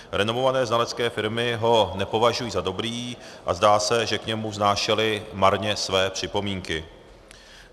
Renomované znalecké firmy ho nepovažují za dobrý a zdá se, že k němu vznášely marně své připomínky.